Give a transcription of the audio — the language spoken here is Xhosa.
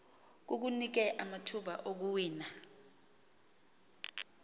kukunike amathuba okuwina